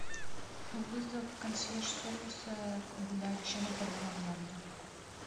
вызов консьерж сервиса для решения проблемы в номере